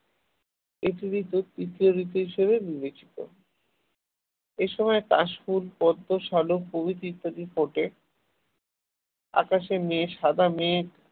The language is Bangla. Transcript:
পৃথিবীর তৃতীয় ঋতু হিসেবে বিবেচিত এই সময় কাশফুল পদ্ম সালুক প্রভৃতি ফুল ফোটে আকাশে মেঘ সাদা মেঘ